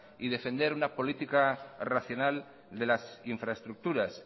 y defender una política racional de las infraestructuras